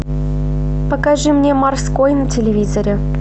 покажи мне морской на телевизоре